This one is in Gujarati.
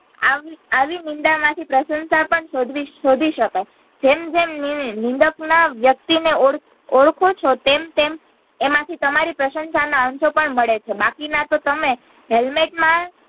આવી આવી નિંદા માંથીપ્રશન્શા પણ શોધવી શોધી શકાય જેમ જેમ નિંદક માં વ્યક્તિ ને ઓળખો છો તેમ તેમ એમાંથી તમારી પ્રશંશા ના અંશો પણ મળે છે બાકી ના તો તમે helmet માં